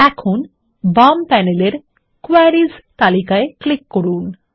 এখন বাম প্যানেলের কোয়েরিস তালিকায় ক্লিক করুন